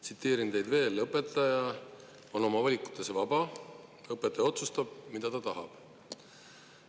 Tsiteerin teid: õpetaja on oma valikutes vaba, õpetaja otsustab, mida ta tahab.